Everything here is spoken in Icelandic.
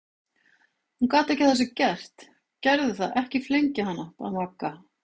Hún gat ekki að þessu gert, gerðu það ekki flengja hana! bað Magga.